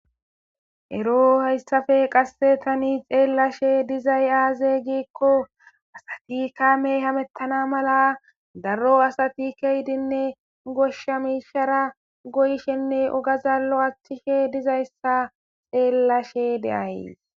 Ero hayssafe qassetani xeellashe dizay aaze geekko asati kamey hamettana mala daro asati keyidinne goshsha miishara goyshenne ogazallo achchishe dizayssa xeellashe deay.